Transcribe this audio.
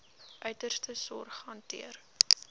uiterste sorg hanteer